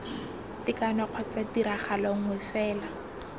tekano kgotsa tiragalo nngwe fela